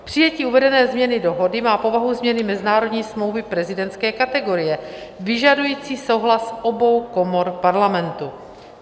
Přijetí uvedené změny dohody má povahu změny mezinárodní smlouvy prezidentské kategorie, vyžadující souhlas obou komor Parlamentu.